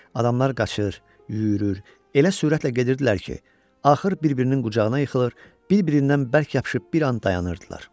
Adamlar qaçır, yüyürür, elə sürətlə gedirdilər ki, axır bir-birinin qucağına yıxılır, bir-birindən bərk yapışıb bir an dayanırdılar.